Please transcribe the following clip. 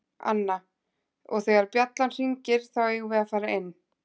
Anna: Og þegar bjallan hringir þá eigum við að fara inn.